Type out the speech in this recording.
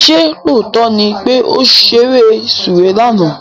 Ṣé lóòótọ́ ni pé ó ṣeré sùwé lánàá?